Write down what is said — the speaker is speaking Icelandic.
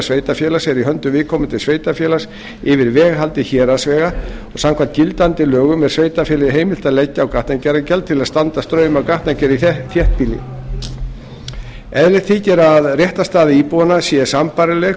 sveitarfélags er í höndum viðkomandi sveitarfélags yfir veghaldi héraðsvega samkvæmt gildandi lögum er sveitarfélagi heimilt að leggja á gatnagerðargjald til að standa straum af gatnagerð í þéttbýli eðlilegt þykir að réttarstaða íbúanna sé sambærileg